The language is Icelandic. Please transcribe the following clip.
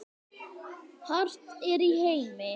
hart er í heimi